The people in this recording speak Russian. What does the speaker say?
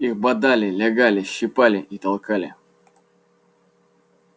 их бодали лягали щипали и толкали